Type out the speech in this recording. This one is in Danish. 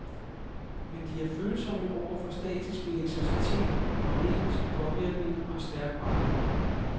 Men de er følsomme over for statisk elektricitet, magnetisk påvirkning og stærk varme.